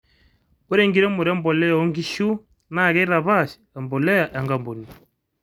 ore enkiremore embolea oo nkishu naa keitapaash embolea enkampuni